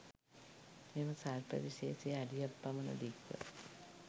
මෙම සර්ප විශේෂය අඩියක් පමණ දික්ව